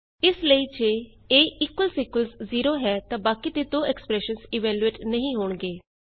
ਇਸ ਲਈ ਜੇ a ਜ਼ੇਰੋ ਹੈ ਤਾਂ ਬਾਕੀ ਦੇ ਦੋ ਐਕਸਪਰੈਸ਼ਨਸ ਇਵੈਲਯੂਏਟ ਐਕਸਪ੍ਰੈਸ਼ਨਜ਼ ਇਵੈਲੂਏਟ ਨਹੀਂ ਹੋਣਗੇ